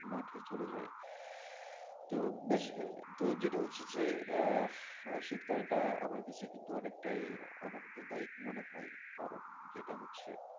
মাঠে চলে যায় তো basically তো যেটা হচ্ছে যে শীতকালটা আমার কাছে কিন্তু অনেকটাই আনন্দদায়ক মনে হয় কারণ যেটা হচ্ছে,